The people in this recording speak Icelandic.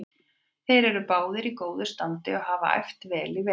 Þeir eru báðir í góðu standi og hafa æft vel í vetur.